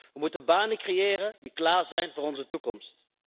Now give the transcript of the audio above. We moeten banen creëren die klaar zijn voor onze toekomst.